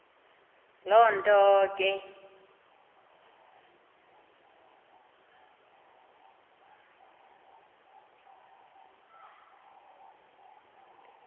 loo nto ke